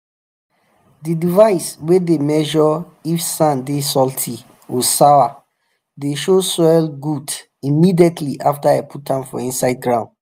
the device way dey measure if sand dey salty or sour dey show soil good immediately after i put am for inside ground.